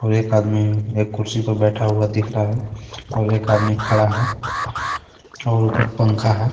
और एक आदमी एक कुर्सी पे बैठा हुआ दिख रहा है और एक आदमी खड़ा है और ऊपर पंखा है.